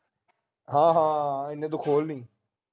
ਹਾਂ ਹਾਂ ਇਹਨੇ ਤੂੰ ਖੋਲ ਲੀ